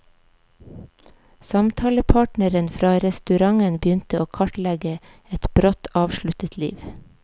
Samtalepartneren fra restauranten begynner å kartlegge et brått avsluttet liv.